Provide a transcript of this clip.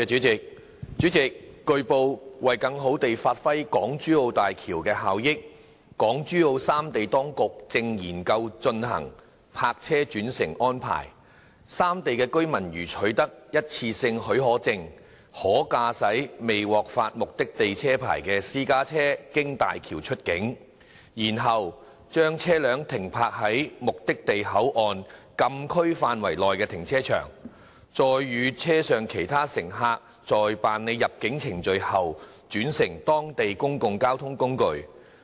主席，據報，為更好地發揮港珠澳大橋的效益，港珠澳三地當局正研究推行"泊車轉乘"安排：三地居民如取得一次性許可證，可駕駛未獲發目的地車牌的私家車經大橋出境，然後把車輛停泊在目的地口岸禁區範圍內的停車場，再與車上其他乘客在辦理入境程序後轉乘當地的公共交通工具。